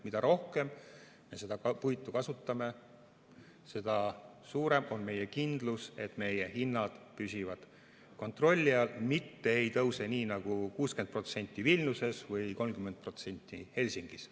Mida rohkem me seda puitu kasutame, seda suurem on kindlus, et meie hinnad püsivad kontrolli all, mitte ei tõuse 60% nagu Vilniuses või 30% nagu Helsingis.